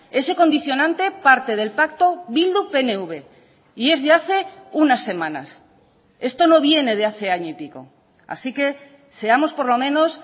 ese condicionante parte del pacto bildu pnv y es de hace unas semanas esto no viene de hace año y pico así que seamos por lo menos